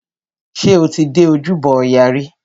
Ṣé o ti dé ojúbọ ọya rí?